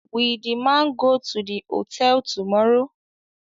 Will the man go to the hotel tomorrow